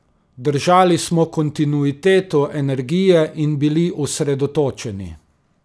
Držali smo kontinuiteto energije in bili osredotočeni.